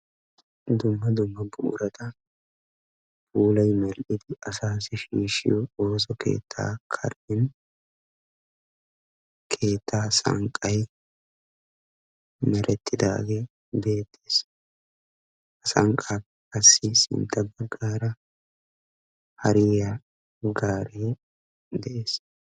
dumma dumma bururata puulay mell"idi asaassi shiishshiyo ooso keetta karen keetta sanqqay meretidaagee beettees; ha sankkappe qasi sintta baggara hare eqqidaagee de'ees.